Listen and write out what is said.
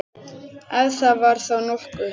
Ef það var þá nokkuð.